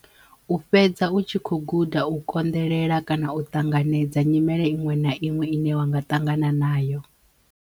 U fhedza u tshi kho guda u konḓelela kana u ṱanganedza nyimele iṅwe na iṅwe ine wa nga ṱangana nayo.